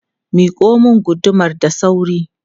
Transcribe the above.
Miƙo mun gudumar da sauri!